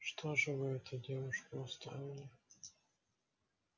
что же это вы девушку оставили